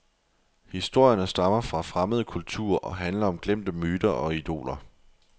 Historierne stammer fra fremmede kulturer og handler om glemte myter og idoler.